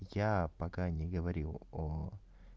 я пока не говорил о